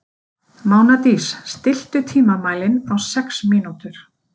Mánadís, stilltu tímamælinn á sex mínútur.